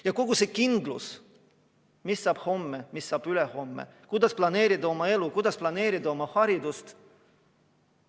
Ja kogu see kindlus, mis saab homme, mis saab ülehomme, kuidas planeerida oma elu, kuidas planeerida oma haridust?